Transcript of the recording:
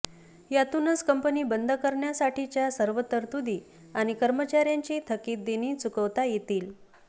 यातूनच कंपनी बंद करण्यासाठीच्या सर्व तरतूदी आणि कर्मचाऱ्यांची थकीत देणी चुकवता येतील